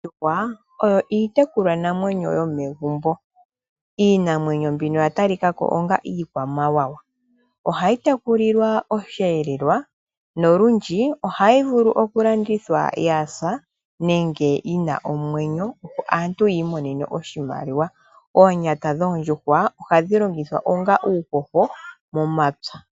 Oomdjuhwa oyo iitekulwa namwenyo yomegumbo . Iinamwenyo mbino oya talikako onga iikwamawawa ohayi tekulilwa osheelelwa nolundje ohayi vulu okulandithwa yasa nenge yina omwenyo opo aantu yi imonene oshimaliwa. Oonyata dhoondjuhwa ohadhi longithwa onga uuhoho momapya